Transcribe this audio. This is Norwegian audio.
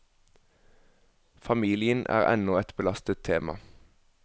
Familien er ennå et belastet tema.